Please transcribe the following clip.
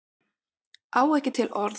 Á ekki til orð